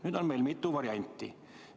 Nüüd on meil mitu varianti.